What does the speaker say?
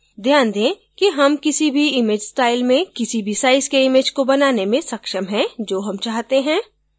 ध्यान दें कि हम किसी भी image style में किसी भी size के image को बनाने में सक्षम हैं जो हम चाहते हैं